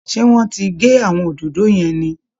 Ṣé wọ́n ti gé àwọn òdòdó yẹn ni